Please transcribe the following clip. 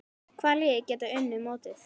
Hvaða lið geta unnið mótið?